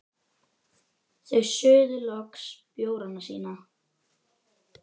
Þau suðu loks bjórana sína.